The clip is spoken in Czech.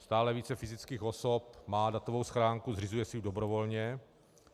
Stále více fyzických osob má datovou schránku, zřizují si ji dobrovolně.